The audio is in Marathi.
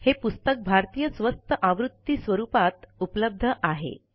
हे पुस्तक भारतीय स्वस्त आवृत्ती स्वरूपात उपलब्ध आहे